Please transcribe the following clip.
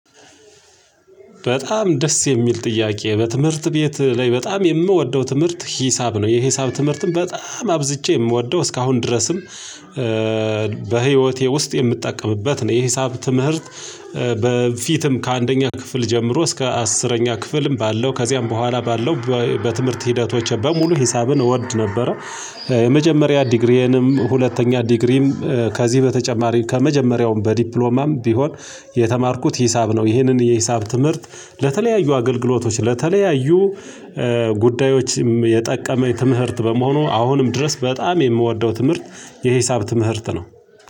በጣም ደስ የሚል ጥያቄ በትምህርት ቤት ላይ በጣም የምወደው ትምህርት ሂሳብ ነው የሂሳብ ትምህርትን በጣም አብዝቼ የምወደው እስካሁን ድረስም በህይወቴ ውስጥ የምጠቀምበት ነው። የሂሳብ ትምህርት በፊትም ከአንደኛ ክፍል ጀምሮ እስከ አስረኛ ክፍልም ባለው ከዚያም በኋላ ባለው በትምህርት ሂደቶች በሙሉ ሂሳብን እወድ ነበረ። የመጀመሪያ ዲግሪዬንም ሁለተኛ ዲግሪም ከዚህ በተጨማሪ ከመጀመሪያውም በዲፕሎማም ቢሆን የተማርኩት ሂሳብ ነው። ይህንን የሂሳብ ትምህርት ለተለያዩ አገልግሎቶች ለተለያዩ ጉዳዮችም የጠቀመኝ ትምህርት በመሆኑ አሁንም ድረስ በጣም የምወደው ትምህርት የሂሳብ ትምህርት ነው።